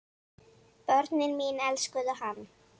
Börnin mín elskuðu hann.